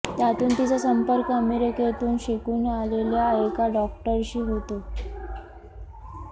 त्यातून तिचा संपर्क अमेरिकेतून शिकून आलेल्या एका डॉक्टरशी होतो